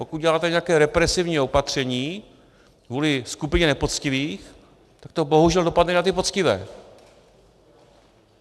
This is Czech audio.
Pokud děláte nějaké represivní opatření kvůli skupině nepoctivých, tak to bohužel dopadne na ty poctivé.